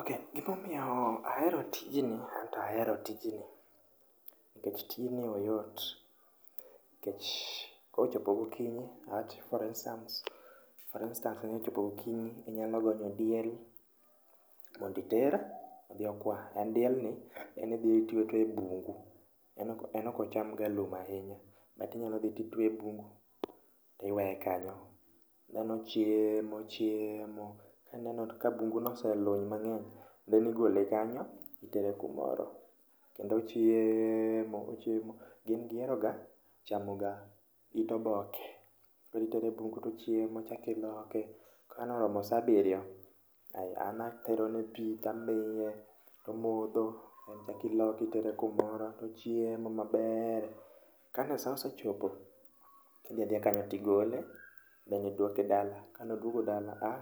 Ok gimomiyo ahero tijni anto ahero tijni nikech tijni oyot. Nikech kochopo gokinyi awach for instance, for instance ni kochopo gokinyi inyalo gonyo diel monditer odhi okwa. En dielni en idhi itweye atweya e bungu, en ok en okocham ga lum ahinya. But inya dhi titweye e bungu tiweye kanyo, then ochiemo ochiemo. Ka ineno ka bungu no oseluny mang'eny, then igole kanyo itere kumoro. Gin giheroga chamoga it oboke. Koritere e bungu tochiemo, ichakiloke. Kanoromo sa abirio, ay anaterone pi tamiye tomodho, then ichakiloke itere kumoro tochiemo maber. Kan sa osechopo, idhi adhiya kanyo tigole then idwoke dala. Ka an odwogo dala, ah